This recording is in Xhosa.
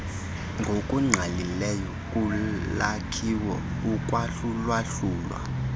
ngokungqalileyo kulwakhiwo ukwahlulwahlulwa